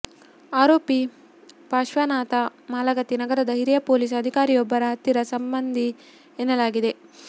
ಆರೋಪಿ ಪಾರ್ಶ್ವನಾಥ ಮಾಲಗತ್ತಿ ನಗರದ ಹಿರಿಯ ಪೊಲೀಸ್ ಅಧಿಕಾರಿಯೊಬ್ಬರ ಹತ್ತಿರ ಸಂಬಂಧಿ ಎನ್ನಲಾಗಿದೆ